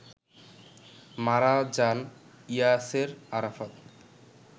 মারা যান ইয়াসের আরাফাত